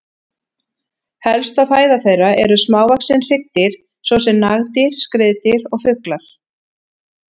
Helsta fæða þeirra eru smávaxin hryggdýr svo sem nagdýr, skriðdýr og fuglar.